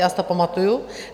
Já si to pamatuji.